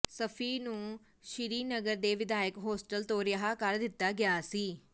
ਸ਼ਫੀ ਨੂੰ ਸ੍ਰੀਨਗਰ ਦੇ ਵਿਧਾਇਕ ਹੋਸਟਲ ਤੋਂ ਰਿਹਾਅ ਕਰ ਦਿੱਤਾ ਗਿਆ ਸੀ